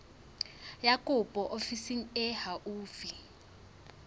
ya kopo ofising e haufi